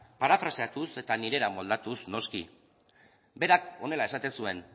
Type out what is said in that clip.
parafraseatuz eta nirera moldatuz noski berak horrela esaten zuen